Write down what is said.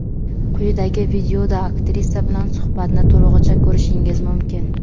Quyidagi videoda aktrisa bilan suhbatni to‘lig‘icha ko‘rishingiz mumkin.